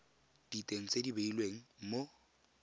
diteng tse di beilweng mo